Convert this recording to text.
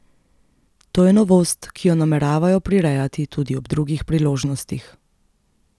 To je novost, ki jo nameravajo prirejati tudi ob drugih priložnostih.